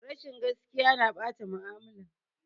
Rashin gakiya ya na ɓata mu'amala